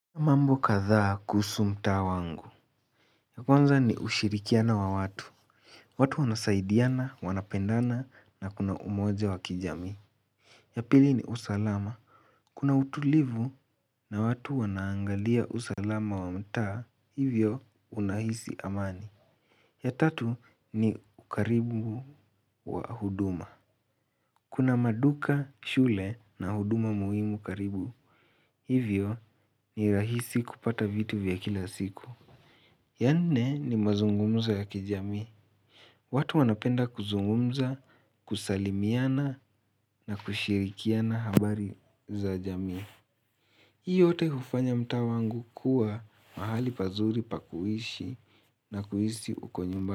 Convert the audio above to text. Mambo kadhaa kuhusu mtaa wangu. Ya kwanza ni ushirikiano wa watu. Watu wanasaidiana, wanapendana na kuna umoja wa kijami. Ya pili ni usalama. Kuna utulivu na watu wanaangalia usalama wa mtaa, hivyo unahisi amani. Ya tatu ni ukaribu wa huduma. Kuna maduka shule na huduma muhimu karibu. Hivyo ni rahisi kupata vitu vya kila siku. Ya nne ni mazungumzo ya kijamii. Watu wanapenda kuzungumza, kusalimiana na kushirikiana habari za jami. Hii yote hufanya mtaa wangu kuwa mahali pazuri pa kuishi na kuhisi uko nyumbani.